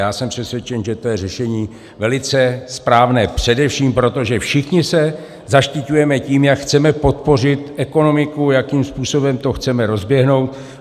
Já jsem přesvědčen, že to je řešení velice správné, především proto, že všichni se zaštiťujeme tím, jak chceme podpořit ekonomiku, jakým způsobem to chceme rozeběhnout.